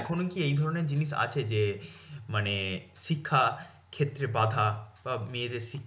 এখনও কি এই ধরণের জিনিস আছে? যে মানে শিক্ষার ক্ষেত্রে বাঁধা বা মেয়েদের শিক্ষা